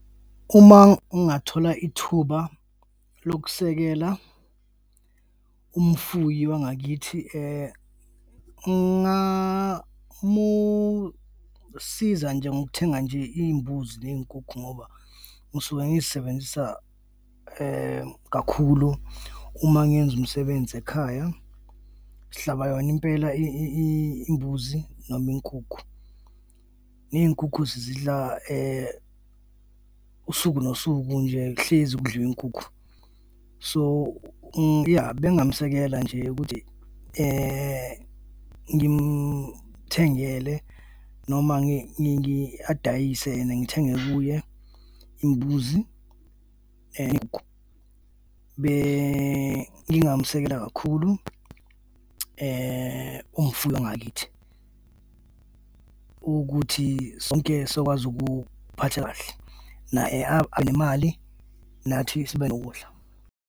Uma ngingathola ithuba lokusekela umfuyi wangakithi, ngingamusiza nje ngokuthenga nje iy'mbuzi ney'nkukhu ngoba ngisuke ngizibenzisa kakhulu uma ngenza umsebenzi ekhaya, sihlaba yona impela imbuzi noma inkukhu. Ney'nkukhu sizidla usuku nosuku nje kuhlezi kudliwa inkukhu. So iya bengingamsekela nje ukuthi ngimthengele noma adayise and ngithenge kuye imbuzi . Bengingamsekela kakhulu umfuyi wangakithi ukuthi sonke sizokwazi ukuphatha kahle naye abe nemali nathi sibe nokudla.